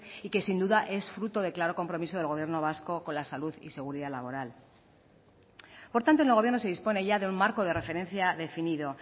y que sin duda es fruto de claro compromiso del gobierno vasco con la salud y la seguridad laboral por tanto en el gobierno se dispone ya de un marco de referencia definido